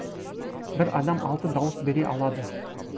бір адам алты дауыс бере алады